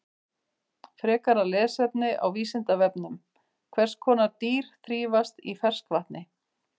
Frekara lesefni á Vísindavefnum: Hvers konar dýr þrífast í ferskvatni?